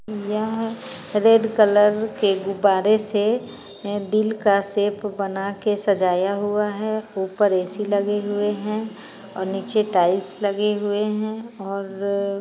यह red colour के गुब्बारे से दिल का शेप बना के सजाया हुआ है ऊपर ए.सी. लगे हुए है और नीचे टाइल्स लगे हुए हैं और --